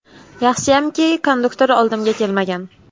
Yaxshiyamki, konduktor oldimga kelmagan.